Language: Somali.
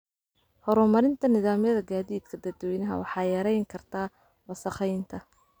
Horumarinta nidaamyada gaadiidka dadweynaha waxay yareyn kartaa wasakheynta.